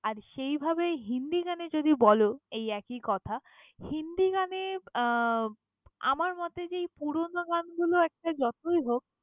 আর সেইভাবে হিন্দি গানে যদি বল এই একই কথা, হিন্দি গানে আহ আমার মতে যে এই পুরোনো গানগুলো একটা যতই হোক।